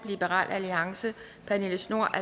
pernille schnoor